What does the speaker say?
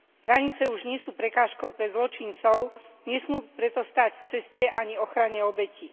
Hranice už nie sú prekážkou pre zločincov, nesmú preto stáť v ceste ani ochrane obetí.